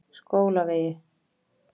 Skólavegi